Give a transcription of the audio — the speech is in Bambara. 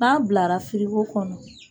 N'an bilara firiko kɔnɔ.